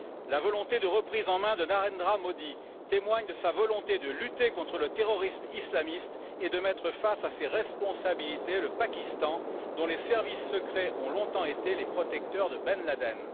La volonté de reprise en main de Narendra Modi témoigne de sa volonté de lutter contre le terrorisme islamiste et de mettre face à ses responsabilités le Pakistan, dont les services secrets ont longtemps été les protecteurs de Ben Laden.